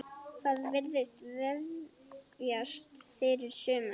Það virðist vefjast fyrir sumum.